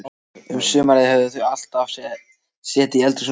Um sumarið höfðu þau alltaf setið í eldhúsinu á kvöldin.